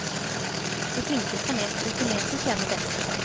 De flinkeste og mest rutinerte tjener best.